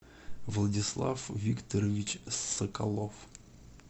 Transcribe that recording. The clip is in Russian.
владислав викторович соколов